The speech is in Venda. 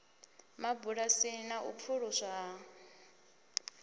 mabulasini na u pfuluswa ha